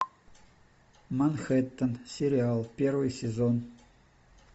манхэттен сериал первый сезон